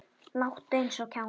Láttu eins og kjáni.